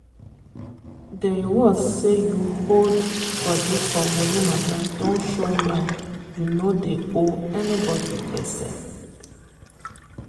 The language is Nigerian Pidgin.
di reward say u hold body for money mata don show now u no dey owe anybody gbese.